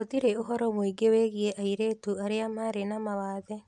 Gũtirĩ ũhoro mũingĩ wĩgiĩ airĩtu arĩa marĩ na mawathe.